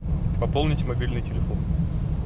пополнить мобильный телефон